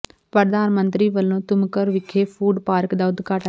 ਪ੍ਰਧਾਨ ਮੰਤਰੀ ਵਲੋਂ ਤੁਮਕੁਰ ਵਿਖੇ ਫੂਡ ਪਾਰਕ ਦਾ ਉਦਘਾਟਨ